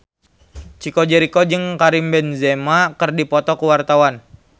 Chico Jericho jeung Karim Benzema keur dipoto ku wartawan